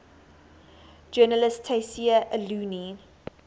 journalist tayseer allouni